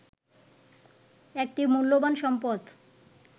একটি মূল্যবান সম্পদ